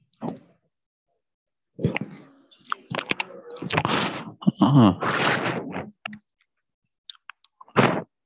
அஹ் ஆஹ்